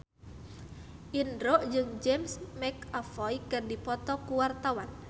Indro jeung James McAvoy keur dipoto ku wartawan